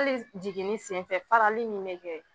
Hali s jiginni sen fɛ farali min bɛ kɛ